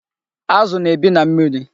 Azụ na-ebi na mmiri.